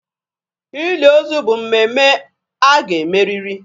Ili ozu bụ mmemme a ga e meriri.